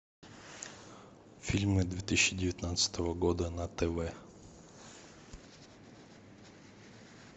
фильмы две тысячи девятнадцатого года на тв